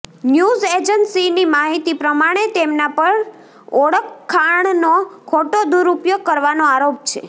news એજન્સીની માહિતી પ્રમાણે તેમના પર ઓળખાણનો ખોટો દૂરઉપયોગ કરવાનો આરોપ છે